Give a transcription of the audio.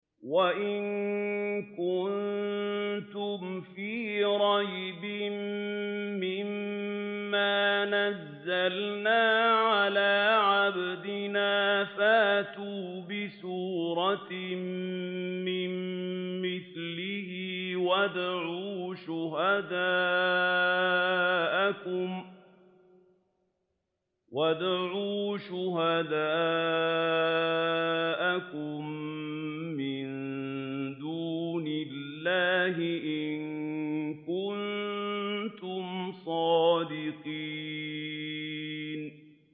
وَإِن كُنتُمْ فِي رَيْبٍ مِّمَّا نَزَّلْنَا عَلَىٰ عَبْدِنَا فَأْتُوا بِسُورَةٍ مِّن مِّثْلِهِ وَادْعُوا شُهَدَاءَكُم مِّن دُونِ اللَّهِ إِن كُنتُمْ صَادِقِينَ